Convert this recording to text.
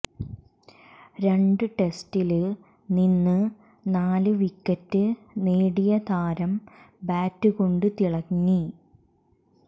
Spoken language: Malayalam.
രണ്ട് ടെസ്റ്റില് നിന്ന് നാല് വിക്കറ്റ് നേടിയ താരം ബാറ്റുകൊണ്ട് തിളങ്ങി